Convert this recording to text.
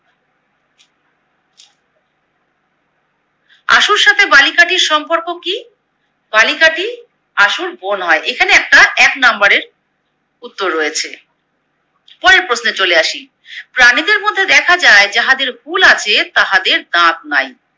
আশুর সাথে বালিকাটির সম্পর্ক কি? বালিকাটি আশুর বোন হয়। এখানে একটা এক নাম্বারের উত্তর রয়েছে। পরের প্রশ্নে চলে আসি, প্রাণীদের মধ্যে দেখা যায় যাহাদের হুল আছে তাহাদের দাঁত নাই